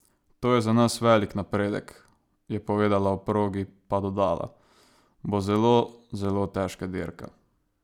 To je za nas velik napredek," je povedala, o progi pa dodala: "Bo zelo, zelo težka dirka.